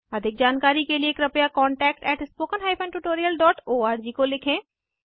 अधिक जानकारी के लिए कृपया contactspoken tutorialorg को लिखें